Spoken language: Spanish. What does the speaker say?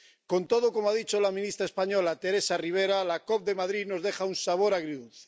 Con todo —como ha dicho la ministra española, Teresa Ribera— la COP de Madrid nos deja un sabor agridulce.